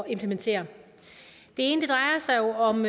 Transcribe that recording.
implementere det ene drejer sig jo om